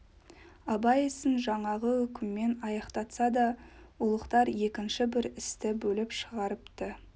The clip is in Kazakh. абай ісін жаңағы үкіммен аяқтатса да ұлықтар екінші бір істі бөліп шығарыпты